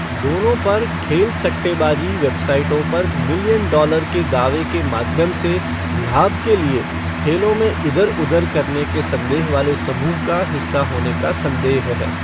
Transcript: दोनों पर खेल सट्टेबाजी वेबसाइटों पर मिलियन डॉलर के दावे के माध्यम से लाभ के लिए खेलों में इधर उधर करने के संदेह वाले समूह का हिस्सा होने का संदेह है।